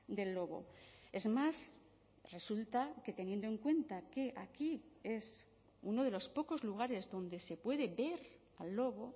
del lobo es más resulta que teniendo en cuenta que aquí es uno de los pocos lugares donde se puede ver al lobo